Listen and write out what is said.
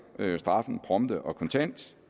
straffen prompte og kontant